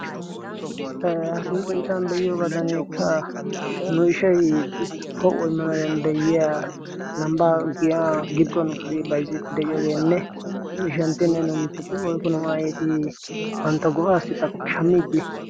e hastinnu sinttan be'iyoogaadaneekka nu ishai po''ooi manaariyan de'yiya lambbaa giya gidduwaa nu tiri baizzitti de'iyoogeenne nu ishanttii na noomiciexia woikko nu aitii bantta go'aassi xashammiiddi